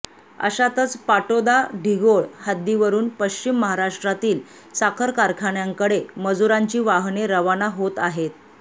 अशातच पाटोदा ढिगोळ हद्दीवरून पश्चिम महाराष्ट्रातील साखर कारखान्यांकडे मजुरांची वाहने रवाना होत आहेत